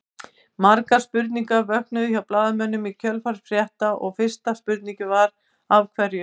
Margar spurningar vöknuðu hjá blaðamönnum í kjölfar þessa frétta og fyrsta spurningin Af hverju?